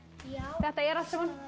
þetta er allt saman